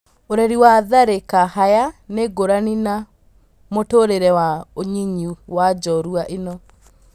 ũreri wa Tharĩ ka Haya nĩ ngũrani na mũtũrĩ re wa unyinyinĩ wa njorua ĩ no.